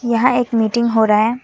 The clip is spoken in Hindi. यहां एक मीटिंग हो रहा है।